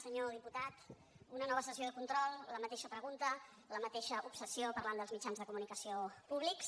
senyor diputat una nova sessió de control la mateixa pregunta la mateixa obsessió parlant dels mitjans de comunicació públics